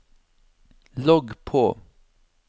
logg på